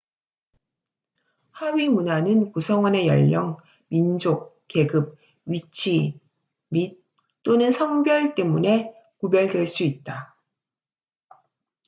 하위문화는 구성원의 연령 민족 계급 위치 및/또는 성별 때문에 구별될 수 있다